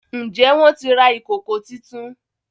Njé wón tí rà Ìkòkò títún?